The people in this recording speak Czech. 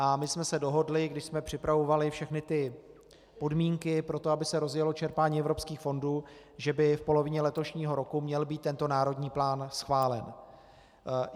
A my jsme se dohodli, když jsme připravovali všechny ty podmínky pro to, aby se rozjelo čerpání evropských fondů, že by v polovině letošního roku měl být tento národní plán schválen.